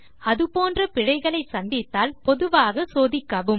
அது போன்ற பிழைகளை சந்தித்தால் பொதுவாக சோதிக்கவும்